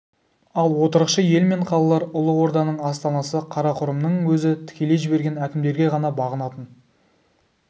ал отырықшы ел мен қалалар ұлы орданың астанасы қарақұрымның өзі тікелей жіберген әкімдерге ғана бағынатын